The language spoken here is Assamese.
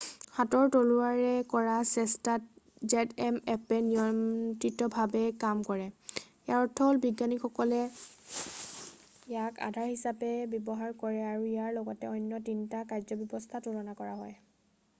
হাতৰ তলুৱাৰে কৰা চেষ্টাত zmএপ্পে নিয়ন্ত্ৰিতভাৱে কাম কৰে ইয়াৰ অৰ্থ হ'ল বিজ্ঞানীসকলে ইয়াক আধাৰ হিচাপে ব্যৱহাৰ কৰে আৰু ইয়াৰ লগত অন্য 3টা কাৰ্যব্যৱস্থা তুলনা কৰা হয়।